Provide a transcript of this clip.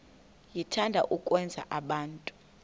niyathanda ukwenza abantu